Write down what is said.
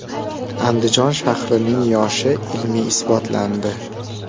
Andijon shahrining yoshi ilmiy isbotlandi.